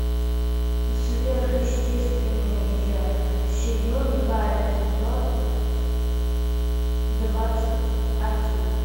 сверхъестественное сезон два эпизод двадцать один